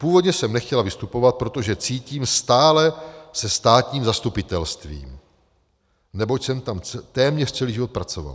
Původně jsem nechtěla vystupovat, protože cítím stále se státním zastupitelstvím, neboť jsem tam téměř celý život pracovala.